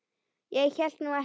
Ég hélt nú ekki.